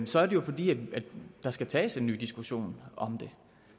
så er det jo fordi der skal tages en ny diskussion om det